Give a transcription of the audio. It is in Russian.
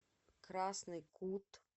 красный кут